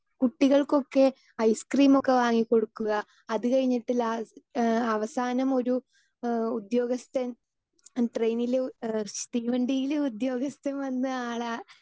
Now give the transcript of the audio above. speaker 2 കുട്ടികൾക്കൊക്കെ ഐസ്ക്രീംമൊക്കെ വാങ്ങി കൊടുക്കുക അത് കഴിഞ്ഞിട്ട് ലാസ് ഏഹ് അവസാനം ഒരു ഏഹ് ഉദ്യോഗസ്ഥൻ ട്രെയിനിലു തീവണ്ടിയിലെ ഉദ്യോഗസ്ഥൻ വന്ന് ആളെ